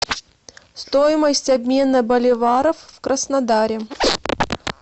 стоимость обмена боливаров в краснодаре